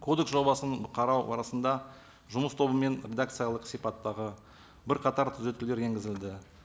кодекс жобасын қарау барысында жұмыс тобымен редакциялық сипаттағы бірқатар түзетулер енгізілді